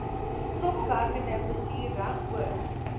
samewerkende bestuur regoor